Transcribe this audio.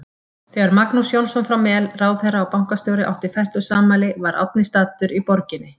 Þegar Magnús Jónsson frá Mel, ráðherra og bankastjóri, átti fertugsafmæli var Árni staddur í borginni.